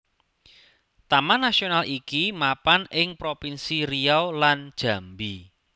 Taman Nasional iki mapan ing propinsi Riau lan Jambi